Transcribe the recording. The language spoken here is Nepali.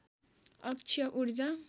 अक्षय ऊर्जा